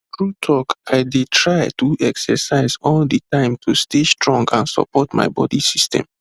true talk i dey try do exercise all the time to stay strong and support my body system